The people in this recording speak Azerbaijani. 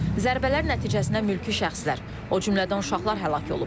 Zərbələr nəticəsində mülki şəxslər, o cümlədən uşaqlar həlak olub.